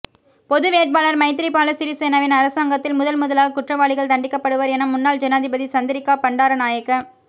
பொது வேட்பாளர் மைத்திரிபால சிறிசேனவின் அரசாங்கத்தில் முதன் முதலாக குற்றவாளிகள் தண்டிக்கப்படுவர் என முன்னாள் ஜனாதிபதி சந்திரிக்கா பண்டாரநாயக்க